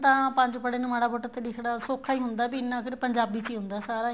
ਤਾਂ ਪੰਜ ਪੜੇ ਨੂੰ ਮਾੜਾ ਮੋਟਾ ਲਿਖਣਾ ਸੋਖਾ ਹੀ ਹੁੰਦਾ ਏ ਵੀ ਇੰਨਾ ਫ਼ਿਰ ਪੰਜਾਬੀ ਚ ਹੀ ਆਉਦਾ ਸਾਰਾ